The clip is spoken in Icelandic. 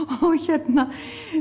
og hérna